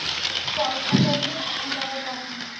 পয়সা কড়িও যাবে তখন।